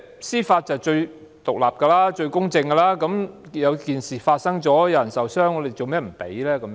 司法機構是最獨立和公正的，事情發生了，有人受傷，為何不給予許可呢？